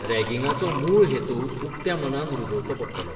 रॅगिंगाचो मूळ हेतू उक्त्या मनान रुजोवचो पडटलो.